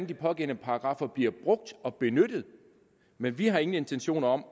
de pågældende paragraffer bliver brugt og benyttet men vi har ingen intentioner om